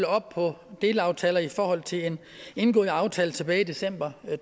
op på delaftaler i forhold til en indgået aftale tilbage i december